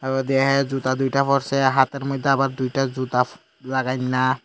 ও দেহায় জুতা দুইটা পরসে হাতের মইধ্যে আবার দুইটা জুতা লাগাইন্যা।